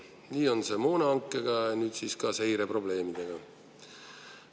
Nii on see moonahankega ja nüüd siis ka seireprobleemidega.